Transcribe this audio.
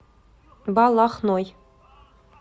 балахной